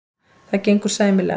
Það gengur sæmilega.